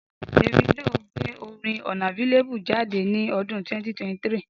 Davido gbé orin unavailable jáde ní ọdún 2023